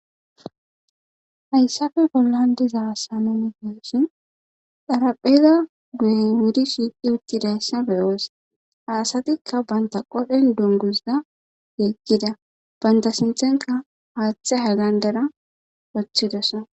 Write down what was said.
hayssafe pollan diza sanumigeossin xharapheza guye wudi shiiqhi uttidayssa beyoos aasatikka banta qodhen dungusza yeekkida banta sinthenka haaththe hagandera woththidesa